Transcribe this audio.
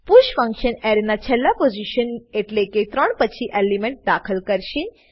push function એરેના છેલ્લા position એટલેકે ત્રણ પછી એલિમેન્ટ દાખલ કરશે